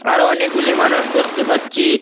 আরো অনেকগুলি মানুষ দেখতে পাচ্ছি।